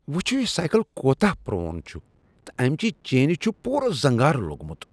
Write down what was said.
وچھیو یہ سایكل كوتاہ پرون چھٗ تہٕ امِچہِ چینہِ چھٗ پوُرٕ زنگارٕ لو٘گمٗت ۔